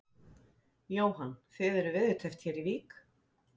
Jóhann: Þið eruð veðurteppt hér í Vík?